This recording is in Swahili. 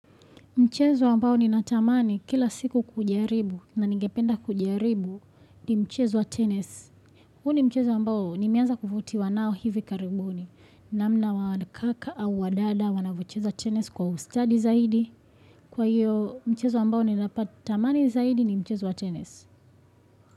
Mchezo ambao ninatamani kila siku kujaribu na ningependa kujaribu ni mchezo wa tenis. Huu ni mchezo ambao nimeanza kuvutiwa nao hivi karibuni. Namna wa kaka au wa dada wanavyocheza tenis kwa ustadi zaidi. Kwa hiyo mchezo ambao ninapati amani zaidi ni mchezo wa tenis.